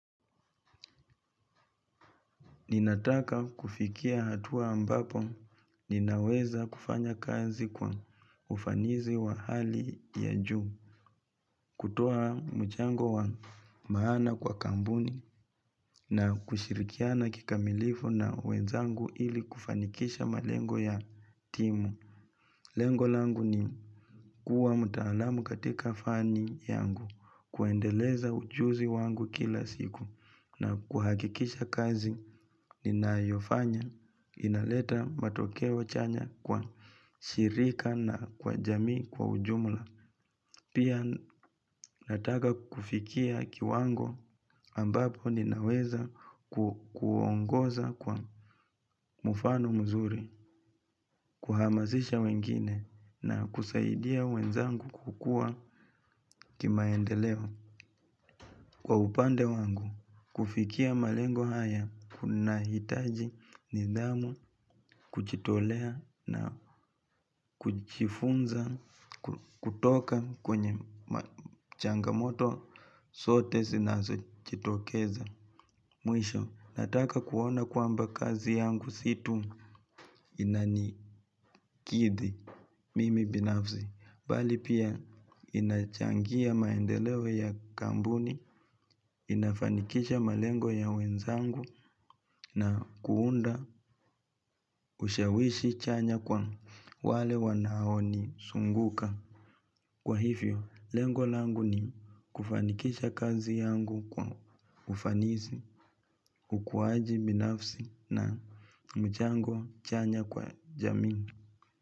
Ninataka kufikia hatua ambapo ninaweza kufanya kazi kwa ufanizi wa hali ya juu, kutoa mchango wa maana kwa kambuni na kushirikiana kikamilifu na wenzangu ili kufanikisha malengo ya timu. Lengolangu ni kuwa mutalamu katika fani yangu kuendeleza ujuzi wangu kila siku na kuhakikisha kazi ni nayofanya inaleta matokeo chanya kwa shirika na kwa jamii kwa ujumula. Pia nataka kufikia kiwango ambapo ninaweza kuongoza kwa mufano mzuri, kuhamazisha wengine na kusaidia wenzangu kukua kimaendeleo. Kwa upande wangu, kufikia malengo haya, kunahitaji nidhamu, kuchitolea na kuchifunza, kutoka kwenye changamoto, sote sinazo chitokeza. Mwisho, nataka kuona kwamba kazi yangu situ inanikidhi. Mimi binafzi, bali pia inachangia maendeleo ya kambuni. Inafanikisha malengo ya wenzangu na kuunda ushawishi chanya kwa wale wanaoni sunguka. Kwa hivyo, lengolangu ni kufanikisha kazi yangu kwa ufanisi, ukuaji binafsi na mchango chanya kwa jamii.